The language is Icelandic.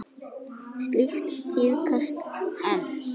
Slíkt tíðkast enn.